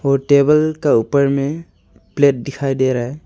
और टेबल का ऊपर में प्लेट दिखाई दे रहा है।